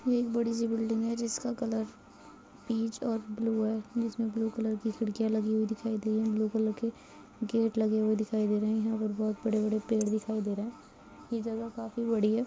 ये एक बड़ी सी बिल्डिंग है जिसका कलर पिच और ब्लू है जिसमें ब्लू कलर की खिड़कियाँ लगी हुई दिखाई दे रही है ब्लू कलर के गेट लगे दिखाई दे रहें हैं यहाँ पर बहुत बड़े-बड़े पेड़ दिखाई दे रहें हैं ये जगह काफी बड़ी है।